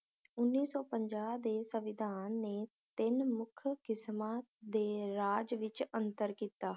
ਉੱਨੀ ਸੌ ਪੰਜਾ ਦੇ ਸੰਵਿਧਾਨ ਨੇ ਤਿੰਨ ਮੁਖ ਕਿਸਮਾਂ ਦੇ ਰਾਜ ਵਿਚ ਅੰਤਰ ਕੀਤਾ